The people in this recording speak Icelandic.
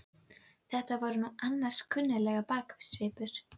Þetta var nú annars kunnuglegur baksvipur!